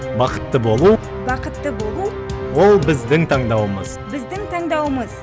бақытты болу бақытты болу ол біздің таңдауымыз біздің таңдауымыз